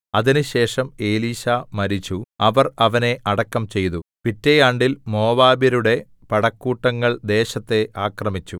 അതിന് ശേഷം എലീശാ മരിച്ചു അവർ അവനെ അടക്കം ചെയ്തു പിറ്റേ ആണ്ടിൽ മോവാബ്യരുടെ പടക്കൂട്ടങ്ങൾ ദേശത്തെ ആക്രമിച്ചു